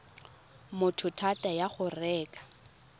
motho thata ya go reka